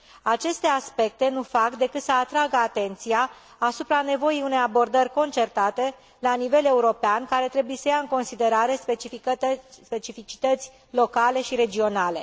Aceste aspecte nu fac decât să atragă atenția asupra nevoii unei abordări concertate la nivel european, care trebuie să ia în considerare specificități locale și regionale.